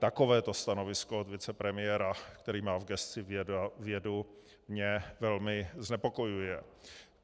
Takovéto stanovisko od vicepremiéra, který má v gesci vědu, mě velmi znepokojuje.